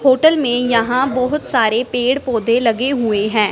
Hotel में यहां बहुत सारे पेड़ पौधे लगे हुए हैं।